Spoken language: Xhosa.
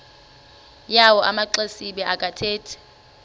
yawo amaxesibe akathethi